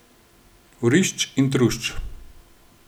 Vrišč in trušč.